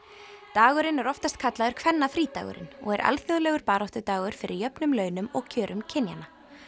dagurinn er oftast kallaður kvennafrídagurinn og er alþjóðlegur baráttudagur fyrir jöfnum launum og kjörum kynjanna